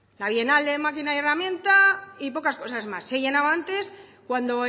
la bienal de máquina herramienta y pocas cosas más se llenaba antes cuando